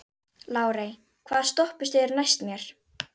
Lárey, hvaða stoppistöð er næst mér?